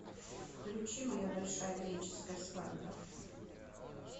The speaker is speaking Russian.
включи моя большая греческая свадьба